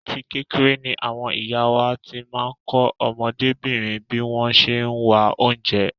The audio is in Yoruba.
Àti kékeré ni àwọn ìyá wá ti máa ń kọ́ ọmọdébìnrin bí wọ́n ṣe ń wá oúnjẹ.